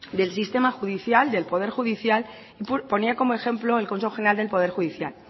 del sistema judicial del poder judicial ponía como ejemplo el consejo general del poder judicial